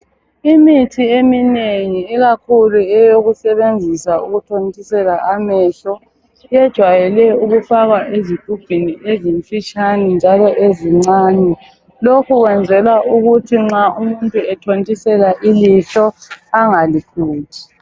Imithi eminengi ikakhulu eyokusebenzisa ukuthontisela amehlo ijwayele ukufakwa ezigubhini ezimfitshane njalo ezincane lokhu kwenzelwa ukuthi nxa umuntu ethontisela ilihlo engalikhuthi.